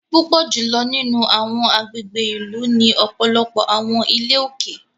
Púpọ jùlọ nínú awọn agbègbè ìlú ní ọpọlọpọ awọn ilé òkè